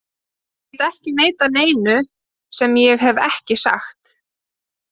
Ég get ekki neitað neinu sem ég hef ekki sagt.